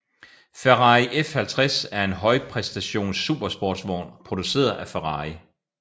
Ferrari F50 er en højpræstations supersportsvogn produceret af Ferrari